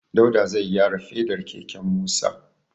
Dauda zai gyara fedar keken Musa.